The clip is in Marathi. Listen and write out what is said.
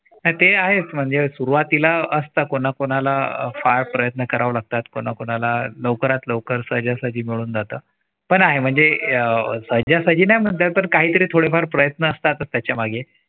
नाय ते आहेच म्हणजे सुरुवातीला असतं. कोणाकोणाला अफाट प्रयत्न करावे लागतात. कोणाला लवकरात लवकर सहजासहजी मिळून जात. पण आहे म्हणजे अह सहजासहजी नाही म्हणता येत पण काही तरी थोडेफार प्रयत्न असतातच त्याच्या मागे